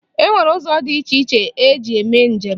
E nwere ụzọ dị iche iche eji eme njem.